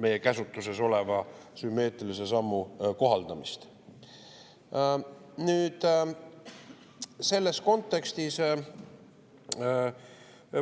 meie käsutuses olevat sümmeetrilist sammu.